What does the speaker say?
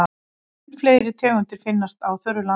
Mun fleiri tegundir finnast á þurru landi.